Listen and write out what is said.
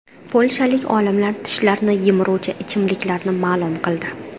Polshalik olimlar tishlarni yemiruvchi ichimliklarni ma’lum qildi.